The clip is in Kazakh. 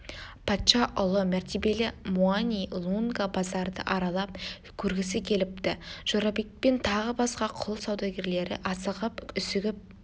патша ұлы мәртебелі муани-лунга базарды аралап көргісі келіпті жорабек пен тағы басқа құл саудагерлері асығып-үсігіп